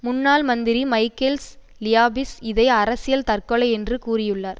முன்னாள் மந்திரி Michaels Liapis இதை அரசியல் தற்கொலை என்று கூறியுள்ளார்